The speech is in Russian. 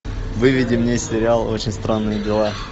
выведи мне сериал очень странные дела